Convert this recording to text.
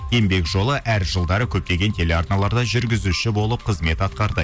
еңбек жолы әр жылдары көптеген телеарналарда жүргізуші болып қызмет атқарды